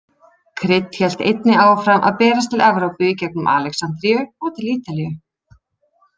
Krydd hélt einnig áfram að berast til Evrópu í gengum Alexandríu og til Ítalíu.